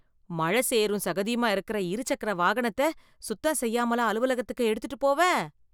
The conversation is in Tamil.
மழ சேறும் சகதியுமா இருக்கற, இருசக்கர வாகனத்த, சுத்தம் செய்யாமலா அலுவலகத்துக்கு எடுத்துட்டுப் போவ..